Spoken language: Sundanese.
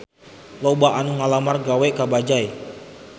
Loba anu ngalamar gawe ka Bajaj